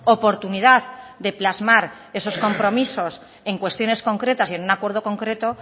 oportunidad de plasmar esos compromisos en cuestiones concretas y en un acuerdo concreto